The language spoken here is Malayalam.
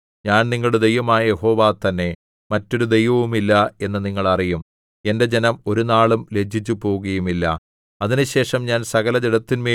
ഞാൻ യിസ്രായേലിന്റെ നടുവിൽ ഉണ്ട് ഞാൻ നിങ്ങളുടെ ദൈവമായ യഹോവ തന്നെ മറ്റൊരു ദൈവവുമില്ല എന്ന് നിങ്ങൾ അറിയും എന്റെ ജനം ഒരുനാളും ലജ്ജിച്ചുപോകുകയുമില്ല